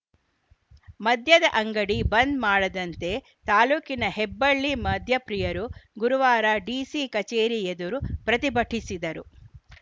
ಮದ್ಯದ ಅಂಗಡಿ ಬಂದ್‌ ಮಾಡದಂತೆ ತಾಲೂಕಿನ ಹೆಬ್ಬಳ್ಳಿ ಮದ್ಯ ಪ್ರಿಯರು ಗುರುವಾರ ಡಿಸಿ ಕಚೇರಿ ಎದುರು ಪ್ರತಿಭಟಿಸಿದರು